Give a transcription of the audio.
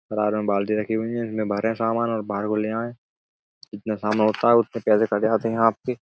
में बाल्टी रखी हुई हैं। इसमें भरें सामान और बाहर को ले आयें। जितना सामान होता है उतने पैसे काट जाते हैं आपके।